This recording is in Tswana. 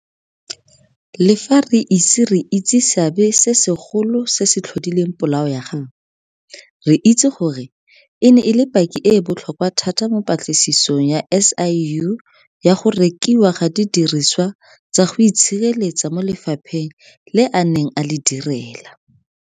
Le fa re ise re itse seabe se segolo se se tlhodileng polao ya gagwe, re itse gore e ne e le paki e e botlhokwa thata mo patlisisong ya SIU ya go rekiwa ga didiriswa tsa go itshireletsa mo lefapheng le a neng a le direla.